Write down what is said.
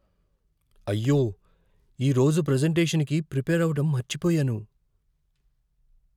అయ్యో! ఈరోజు ప్రెజెంటేషన్కి ప్రిపేర్ అవ్వడం మర్చిపోయాను.